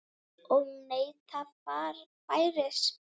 Og neyta færis.